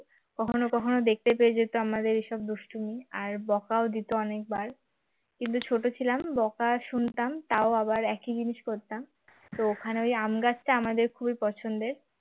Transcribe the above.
কখনো কখনো দেখতে পেয়ে যেত আমাদের এসব দুষ্টুমি আর বকাও দিত অনেক বার কিন্তু ছোট ছিলাম বকা শুনতাম তাও আবার একই জিনিস করতাম তো ওখানে ওই আম গাছটা আমাদের খুবই পছন্দের